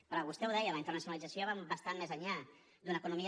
però vostè ho deia la internacionalització va bastant més enllà d’una economia